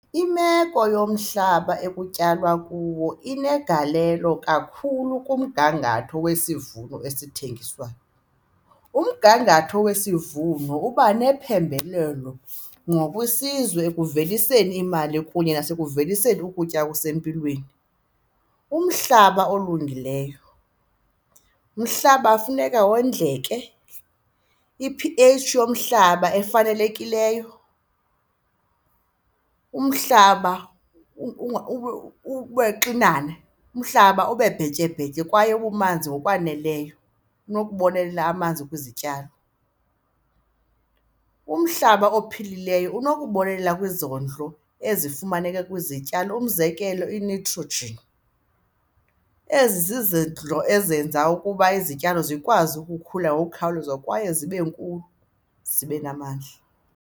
Imeko yomhlaba ekutyalwa kuwo inegalelo kakhulu kumgangatho wesivuno esithengiswayo. Umgangatho wesivuno uba nephembelelo ngokwesizwe ekuveliseni imali kunye nasekuvuniseni ukutya okusempilweni. Umhlaba olungileyo, umhlaba funeka wondleke i-P_H yomhlaba efanelekileyo, umhlaba uxinane umhlaba ube bhetyebhetye kwaye ubumanzi ngokwaneleyo unokubonelela amanzi kwizityalo. Umhlaba ophilileyo unokubonelela kwizondlo ezifumaneka kwizityalo, umzekelo i-nitrogen, ezi zizidlo ezenza ukuba izityalo zikwazi ukukhula ngokukhawuleza kwaye zibe nkulu, zibe namandla.